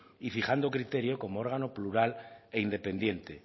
y fijando criterio como órgano plural e independiente